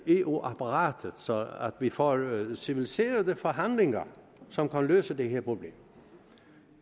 eu apparatet så vi får nogle civiliserede forhandlinger som kan løse det her problem